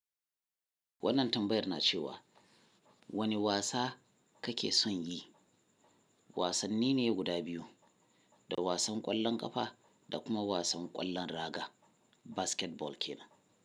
Wannan tambayar na cewa wane wasa kake son yi? Wasanni ne guda biyu, da wasan ƙwallon ƙafa da kuma wasan ƙwallon raga, basketball ke nan.